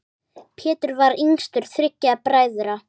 Pétur var yngstur þriggja bræðra.